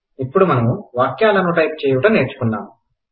ఇప్పుడు మనము వాక్యాలను టైప్ చేయుట నేర్చుకున్నాం